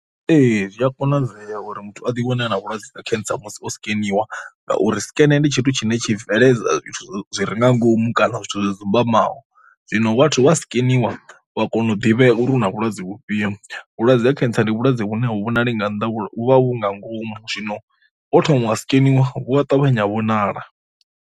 Ee zwi a konadzea uri muthu a ḓi wane a na vhulwadze ha cancer musi o sikeniwa ngauri sikene ndi tshithu tshine tshi bveledza zwithu zwi ri nga ngomu kana zwithu zwo dzumbamaho, zwino vhathu vha skeniwa wa kona u ḓivhea uri una vhulwadze vhufhio, vhulwadze ha cancer ndi vhulwadze vhune a hu vhonali nga nnḓa vhu vha vhu nga ngomu, zwino wo thoma wa sikeniwa vhu ha ṱavhanya vhonala.